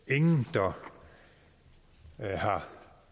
der har